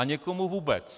A někomu vůbec.